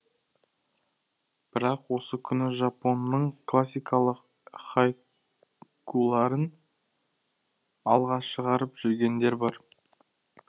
бірақ осы күні жапонның классикалық хайкуларын алға шығарып жүргендер бар